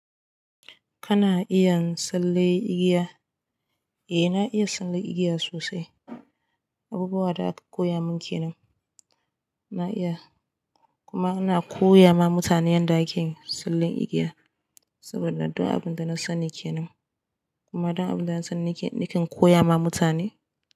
Kana iya tsalle igiya? Eh na iya tsalle igiya sosai, abubuwa da aka koya min ke nan. Na iya kuma ana koya ma mutane yadda ake tsallen igiya saboda duk abin da na sani ke nan kuma duk abin da na sani nakan koya ma mutane.